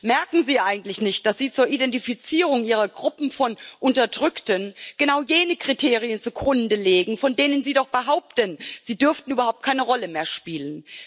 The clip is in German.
Merken Sie eigentlich nicht, dass Sie zur Identifizierung Ihrer Gruppen von Unterdrückten genau jene Kriterien zugrunde legen, von denen Sie doch behaupten, sie dürften überhaupt keine Rolle mehr spielen?